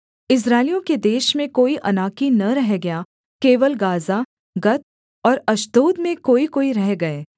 इस्राएलियों के देश में कोई अनाकी न रह गया केवल गाज़ा गत और अश्दोद में कोईकोई रह गए